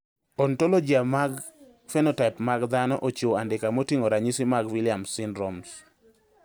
Ontologia mar phenotype mag dhano ochiwo andika moting`o ranyisi mag Williams syndrome.